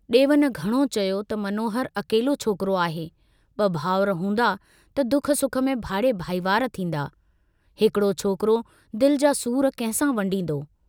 डेवन घणो चयो त मनोहर अकेलो छोकरो आहे, ब भाउर हूंदा त दुख सुख में भाङे भाईवार थींदा, हिकड़ो छोकरो दिल जा सूर कंहिंसां वंडींदो।